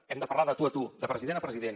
hem de parlar de tu a tu de president a president